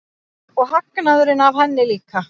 Og hagnaðurinn af henni líka.